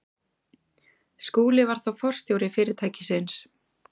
Skúli var þá forstjóri fyrirtækisins.